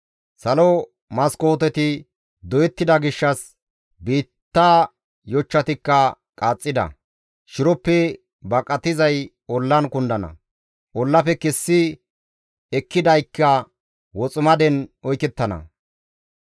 Salo maskooteti doyettida gishshas, biitta yochchatikka qaaxxida; shiroppe baqatizay ollan kundana; ollafe kessi ekkidaykka woximaden oykettana.